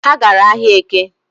Ha gara ahịa Eke